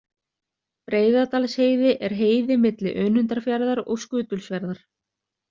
Breiðadalsheiði er heiði milli Önundarfjarðar og Skutulsfjarðar.